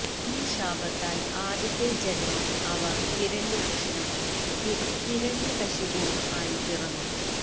ഈ ശാപത്താൽ ആദ്യത്തെ ജൻമം അവർ ഹിരണ്യാക്ഷനും ഹിരണ്യകശിപുവും ആയി പിറന്നു